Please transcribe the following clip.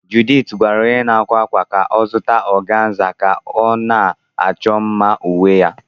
Juliet gwara onye na-akwa akwa ka ọ zụta organza ka ọ na-achọ mma uwe ya.